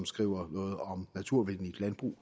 skriver noget om naturvenligt landbrug